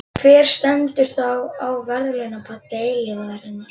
Hver stendur þá á verðlaunapalli eilífðarinnar?